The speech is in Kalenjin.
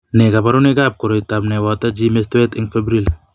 Nee kabarunoikab koroitoab ne boto gee mistoet eng' Febrile?